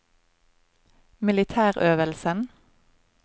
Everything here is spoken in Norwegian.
militærøvelsen